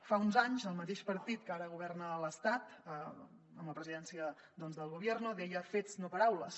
fa uns anys el mateix partit que ara governa a l’estat amb la presidència del gobierno deia fets no paraules